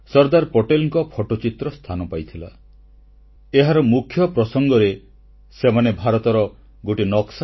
ସ୍ୱାଧୀନତାର ପ୍ରାୟ ସାଢ଼େ ଛଅ ମାସ ପୂର୍ବେ 27 ଜାନୁଆରୀ 1947ରେ ପ୍ରକାଶିତ ବିଶ୍ୱପ୍ରସିଦ୍ଧ ଆନ୍ତର୍ଜାତିକ ପତ୍ରିକା ଟାଇମ୍ Magazineର ମୁଖପୃଷ୍ଠାରେ ସର୍ଦ୍ଦାର ପଟେଲଙ୍କ ଫଟୋଚିତ୍ର ସ୍ଥାନ ପାଇଥିଲା